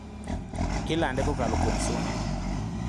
Ilande kokalo kuom suna.